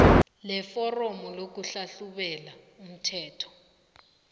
leforomo lokuhlahlubela umthelo